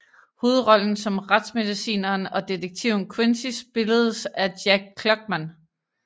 Hovedrollen som retsmedicineren og detektiven Quincy spilledes af Jack Klugman